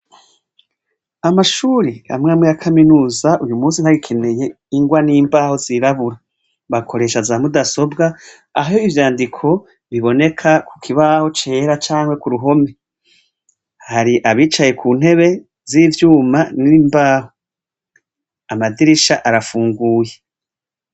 Amashure amw'amwe ya kaminuza yu munsi ntagikeneye ingwa n'imbaho zirabura. Bakoresha za mudasobwa aho ivyandiko biboneka ku kibaho cera canke ku ruhome. Hari abicaye ku ntebe z'ivyuma n'imbaho. Amadirisha arafunguye.